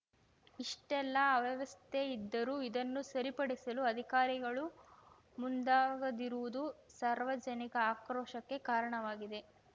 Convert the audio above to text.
ಇಷ್ಟೆಲ್ಲ ಅವ್ಯವಸ್ಥೆ ಇದ್ದರೂ ಇದನ್ನು ಸರಿಪಡಿಸಲು ಅಧಿಕಾರಿಗಳು ಮುಂದಾಗದಿರುವುದು ಸಾರ್ವಜನಿಕ ಆಕ್ರೋಶಕ್ಕೆ ಕಾರಣವಾಗಿದೆ